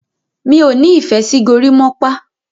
mi'o ní ìfẹ sí gorimopa.